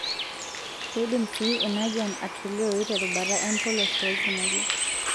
Keidim sii ina jian atolioi terubata empolos oolkimojik.